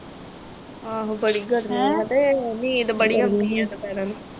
ਆਹੋ ਬੜੀ ਗਰਮੀ ਆ ਤੇ ਹੀਟ ਬੜੀ ਆਉਂਦੀ ਆ ਦੁਪਹਿਰਾਂ ਨੂੰ।